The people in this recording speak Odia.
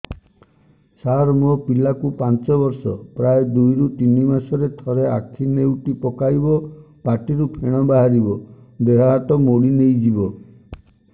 ସାର ମୋ ପିଲା କୁ ପାଞ୍ଚ ବର୍ଷ ପ୍ରାୟ ଦୁଇରୁ ତିନି ମାସ ରେ ଥରେ ଆଖି ନେଉଟି ପକାଇବ ପାଟିରୁ ଫେଣ ବାହାରିବ ଦେହ ହାତ ମୋଡି ନେଇଯିବ